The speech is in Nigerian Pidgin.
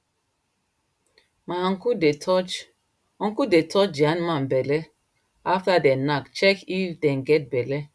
my uncle dey touch uncle dey touch the animal belle after them knack check if them get belle